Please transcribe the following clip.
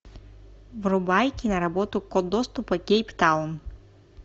врубай киноработу код доступа кейптаун